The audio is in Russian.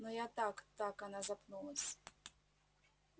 но я так так она запнулась